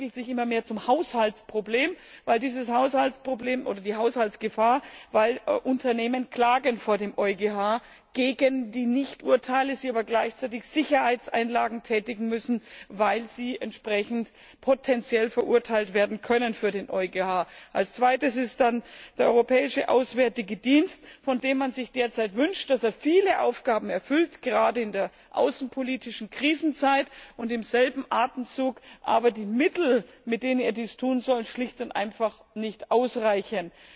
Das entwickelt sich immer mehr zum Haushaltsproblem oder zur Haushaltsgefahr, weil Unternehmen vor dem EuGH gegen die Nichturteile klagen, sie aber gleichzeitig Sicherheitseinlagen tätigen müssen, weil sie entsprechend potenziell verurteilt werden können. Das zweite ist dann der Europäische Auswärtige Dienst, von dem man sich derzeit wünscht, dass er viele Aufgaben erfüllt, gerade in der außenpolitischen Krisenzeit, und im selben Atemzug aber die Mittel, mit denen er dies tun soll, schlicht und einfach nicht ausreichen.